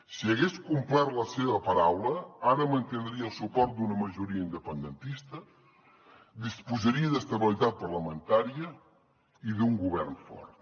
si hagués complert la seva paraula ara mantindria el suport d’una majoria independentista disposaria d’estabilitat parlamentària i d’un govern fort